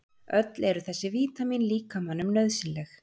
Öll eru þessi vítamín líkamanum nauðsynleg.